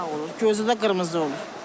Gözü də qırmızı olur.